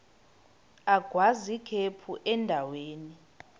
agwaz ikhephu endaweni